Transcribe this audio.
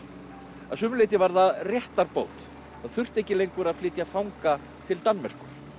að sumu leyti var það réttarbót það þurfti ekki lengur að flytja fanga til Danmerkur